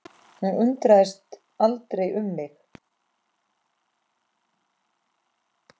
Hún undrast aldrei um mig.